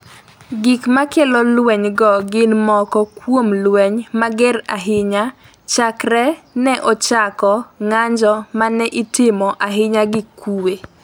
Gik ma kelo lwenygo gin moko kuom lweny mager ahinya chakre ne ochako ng’anjo ma ne itimo ahinya gi kuwe.